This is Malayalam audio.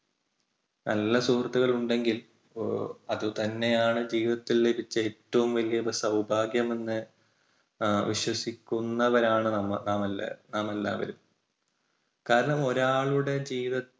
നല്ല സുഹൃത്തുക്കൾ ഉണ്ടെങ്കിൽ അത് തന്നെയാണ് ജീവിതത്തിലേക്ക് വച്ച് ഏറ്റവും വലിയ സൗഭാഗ്യം എന്ന് വിശ്വസിക്കുന്നവരാണ് നമ്മ നാം എല്ലാവരും നാം എല്ലാവരും. കാരണം ഒരാളുടെ ജീവിത